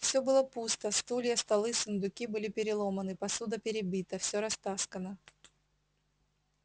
все было пусто стулья столы сундуки были переломаны посуда перебита все растаскано